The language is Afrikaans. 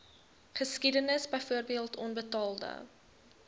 geskiedenis byvoorbeeld onbetaalde